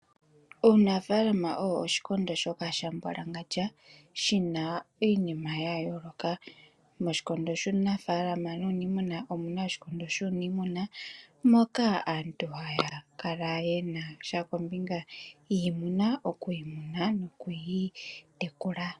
Uunafalama owo oshikondo shoka sha mbwalangandja, shina iinima ya yooloka. Moshikondo shuunafalama nuunimuna omuna oshikondo shuuniimuna, moka aantu haya kala yena sha kombinga yiimuna okuyi muna nokuyi tekula.